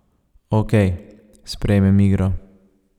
Okej, sprejmem igro.